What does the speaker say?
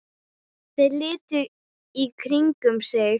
Þeir litu í kringum sig.